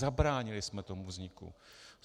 Zabránili jsme tomu vzniku.